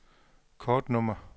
kortnummer